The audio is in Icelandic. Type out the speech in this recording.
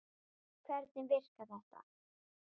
Hvernig virkar þetta?